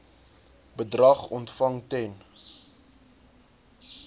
bedrag ontvang ten